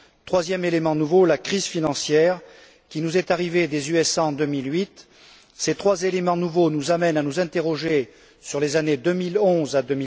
Troisième élément nouveau la crise financière qui nous est arrivée des États Unis en 2008. Ces trois éléments nouveaux nous amènent à nous interroger sur les années 2011 à